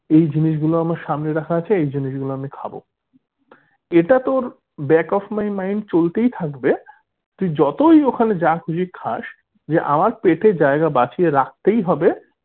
এই জিনিসগুলো আমার সামনে রাখা আছে এই জিনিসগুলো আমি খাবো এটা তোর back of my mind চলতেই থাকবে তুই যতই ওখানে যা খুশি খাস যে আমার পেটে জায়গা বাঁচিয়ে রাখতেই হবে